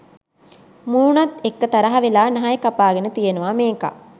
මූනත් එක්ක තරහ වෙලා නහය කපාගෙන තියෙනවා මේකා.